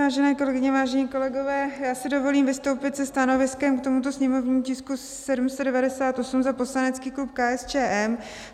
Vážené kolegyně, vážení kolegové, já si dovolím vystoupit se stanoviskem k tomuto sněmovnímu tisku 798 za poslanecký klub KSČM.